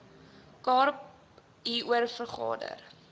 kaap hieroor vergader